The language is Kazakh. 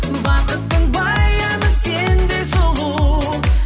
бақыттың баяны сендей сұлу